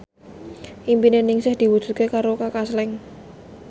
impine Ningsih diwujudke karo Kaka Slank